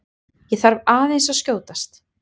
ÉG ÞARF AÐEINS AÐ SKJÓTAST!